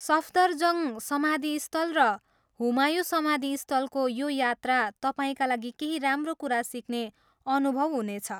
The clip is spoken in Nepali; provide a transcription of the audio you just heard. सफदरजङ्ग समाधिस्थल र हुमायूँ समाधिस्थलको यो यात्रा तपाईँका लागि केही राम्रो कुरा सिक्ने अनुभव हुनेछ।